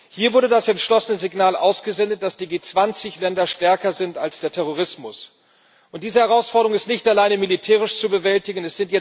Hier wurde das entschlossene Signal ausgesendet, dass die G20 Länder stärker sind als der Terrorismus. Und diese Herausforderung ist nicht allein militärisch zu bewältigen.